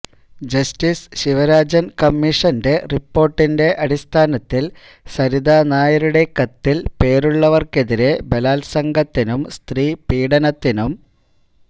justice Sivarajan കമ്മീഷന്റെ റിപ്പോര്ട്ടിന്റെ അടിസ്ഥാനത്തില് സരിത നായരുടെ കത്തില് പേരുള്ളവര്ക്കെതിരെ ബലാത്സംഗത്തിനും സ്ത്രീ പീഡനത്തിനും